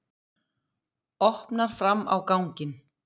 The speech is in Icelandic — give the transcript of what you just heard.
Opnar fram á ganginn.